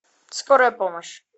скорая помощь